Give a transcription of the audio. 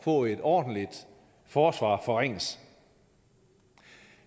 få et ordentligt forsvar forringes